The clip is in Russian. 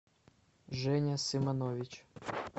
женя сыманович